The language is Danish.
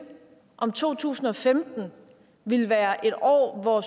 om to tusind og femten ville være et år hvori